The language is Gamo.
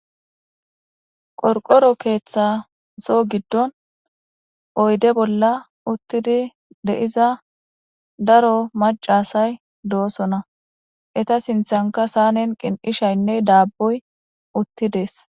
Qorqoro keeththaso giddon oyde bolla uttidi deiza daro macasay doosona eta sinthanka saanen qin'ishaynne daaboy uttidees.